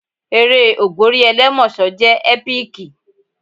Eré ògbórí ẹlẹ́mọ̀ṣọ́ jẹ́ ẹ́píkì.